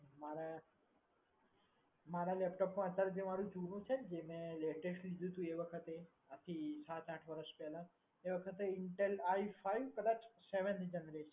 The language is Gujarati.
મારે મારે laptop માં જે અત્યારે મારુ જે જૂનું છે ને જે મે latest લીધું હતું એ વખતે બાકી સાત આઠ વર્ષ પેહલા એ વખતે intel i five કદાચ seventh generation